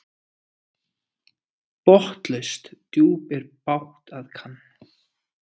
Botnlaust djúp er bágt að kann.